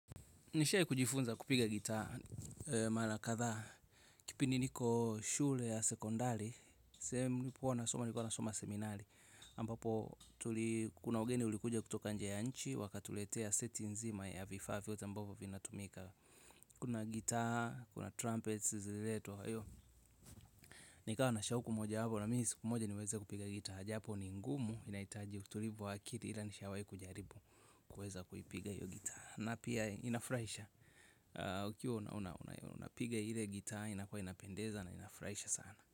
Nishai kujifunza kupiga gitaa, mala kathaa, kipindi niko shule ya sekondari, sehemu nipo huwanasoma, nilikua nasoma seminali, ambapo kuna wageni ulikuja kutoka nje ya nchi, wakatuletea seti nzima ya vifaa vyote ambavo vinatumika. Kuna gitaa, kuna trumpets, zililetwa, hayo. Nikawa na shauku moja wapo, na mimi siku moja niweze kupiga gitaa, japo ni ngumu inaitaji utulivu wa akili ila nishawai kujaribu kueza kuipiga hiyo gitaa. Na pia inafuraisha. Ukiwa unapiga ile gitaa inakuwa inapendeza na inafuraisha sana.